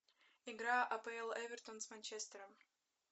игра апл эвертон с манчестером